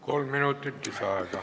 Kolm minutit lisaaega.